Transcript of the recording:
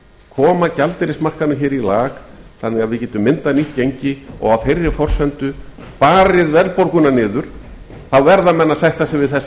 koma gjaldeyrismarkaðnum hér í land þannig að við gætum myndað nýtt gengi og á þeirri forsendu barið verðbólguna niður þá verða menn að sætta sig við þessa